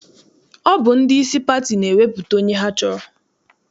Ọ bụ ndị isi pati na-ewepụta onye ha chọrọ.